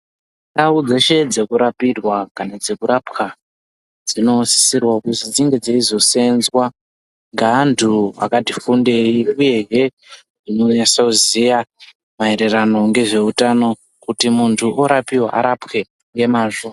Ndau dzeshe dzekurapirwa kana dzekurapwa dzinosisirawo kuzi dzinge dzeizoseenzwa ngeantu akati fundei uyehe anonasa kuziya maererano ngezveutano kuti muntu orapiwa arapwe ngemazvo.